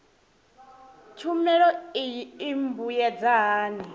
tshumelo iyi i mbuyedza hani